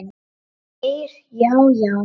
Geir Já, já.